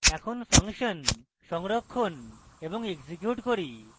এখন আমরা ফাংশন সংরক্ষণ এবং execute করি